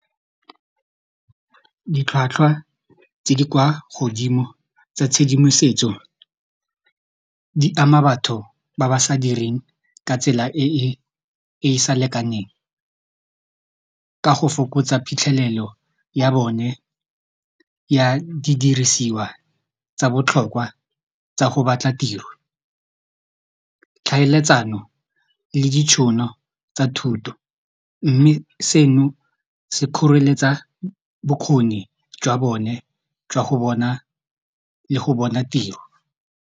Ditlhwatlhwa tse di kwa godimo tsa tshedimosetso di ama batho ba ba sa direng ka tsela e e sa lekaneng ka go fokotsa phitlhelelo ya bone ya didirisiwa tsa botlhokwa tsa go batla tiro tlhaeletsano le ditšhono tsa thuto mme seno se kgoreletsa bokgoni jwa bone jwa go bone le go bona tiro.